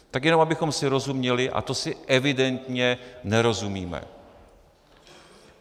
Tak jenom abychom si rozuměli, a to si evidentně nerozumíme.